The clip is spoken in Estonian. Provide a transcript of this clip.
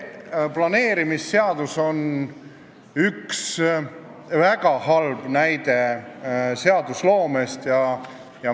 Planeerimisseadus on üks väga halva seadusloome näiteid.